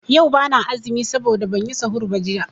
Yau bana azumi saboda banyi sahur ba jiya.